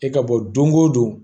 E ka bɔ don o don